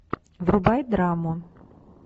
врубай драму